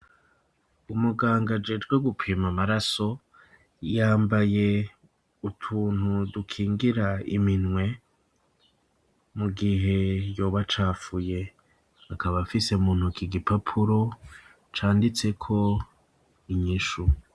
Umuganga ajejwe gupima amaraso, yambaye utuntu dukingira iminwe mu gihe yoba acafuye; akaba afise mu ntoke, igipapuro canditseko inyishu.